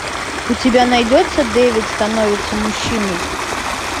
у тебя найдется дэвид становится мужчиной